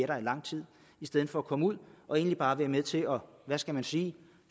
der i lang tid i stedet for at komme ud og egentlig bare være med til at hvad skal man sige